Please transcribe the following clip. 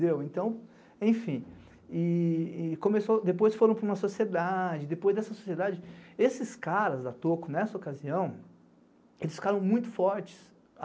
Depois foram para uma sociedade, depois dessa sociedade... Esses caras da Toco, nessa ocasião, eles ficaram muito fortes.